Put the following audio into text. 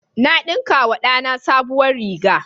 Na ɗinkawa da na sabuwar riga.